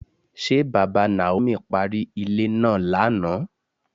Ṣé bàbá Naomi parí ilé náà lánàá?